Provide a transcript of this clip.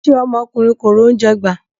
Ṣé ọmọkùnrin kò rí oúnjẹ gbà?